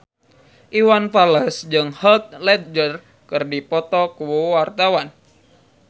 Iwan Fals jeung Heath Ledger keur dipoto ku wartawan